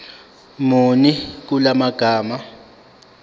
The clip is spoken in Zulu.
muni kula magama